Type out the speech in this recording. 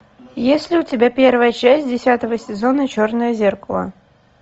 есть ли у тебя первая часть десятого сезона черное зеркало